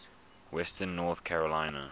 western north carolina